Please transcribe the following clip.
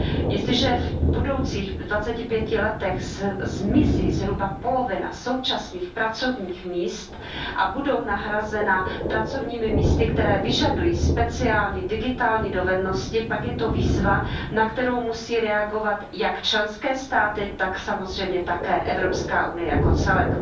Jestliže v budoucích dvaceti pěti letech zmizí zhruba polovina současných pracovních míst a budou nahrazena pracovními místy, která vyžadují speciální digitální dovednosti, pak je to výzva, na kterou musí reagovat jak členské státy, tak samozřejmě také Evropská unie jako celek.